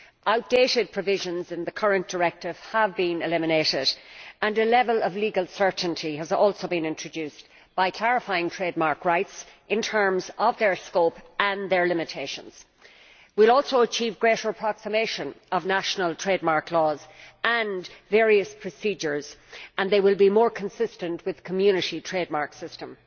Outdated provisions in the current Directive have been eliminated and a level of legal certainty has also been introduced by clarifying trademark rights in terms of their scope and their limitations. We will also achieve greater approximation of national trademark laws and various procedures, and they will be more consistent with the Community trademark system.